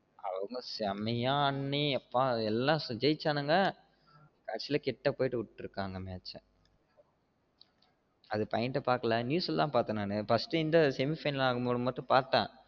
அவங்க செம்மைய ஆடி எப்பா ஜெயிச்சானுங்க கடைசில கிட்ட போயி விற்றுகாங்க match அ அது point ஆ பாக்கல news ல பாத்தேன் நான்னு first இந்த semi final விளையாடும்போது மட்டும் பாத்தேன்